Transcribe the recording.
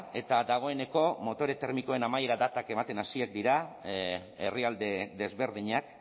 eta dagoeneko motore termikoen amaiera datak ematen hasiak dira herrialde desberdinak